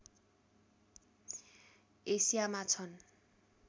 एसियामा छन्